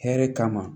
Hɛrɛ kama